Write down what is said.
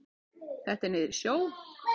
Þetta er niður í sjó.